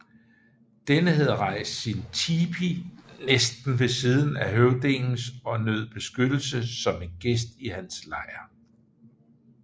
Denne havde rejst sin tipi næsten ved siden af høvdingens og nød beskyttelse som en gæst i hans lejr